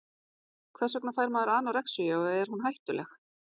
hvers vegna fær maður anorexíu og er hún hættuleg